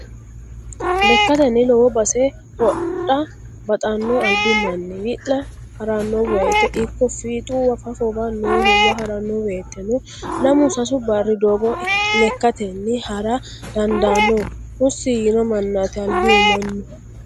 Lekkateni lowo base hodha baxano albi manni wi'la harano woyte ikko fiixuwa fafowa noohuwa harano woyteno lamu sasu barri doogo lekkatenni hara dandano husi yiino mannati albihu mannu.